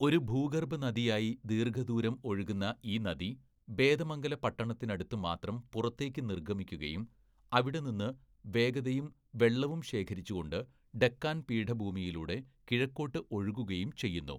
ഒരു ഭൂഗർഭ നദിയായി ദീർഘദൂരം ഒഴുകുന്ന ഈ നദി ബേതമംഗല പട്ടണത്തിനടുത്തു മാത്രം പുറത്തേക്കു നിർഗ്ഗമിക്കുകയും അവിടെ നിന്ന് വേഗതയും വെള്ളവും ശേഖരിച്ചുകൊണ്ട് ഡെക്കാൻ പീഠഭൂമിയിലൂടെ കിഴക്കോട്ട് ഒഴുകുകയും ചെയ്യുന്നു.